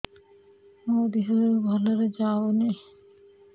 ମୋ ଦିହରୁ ଭଲରେ ଯାଉନି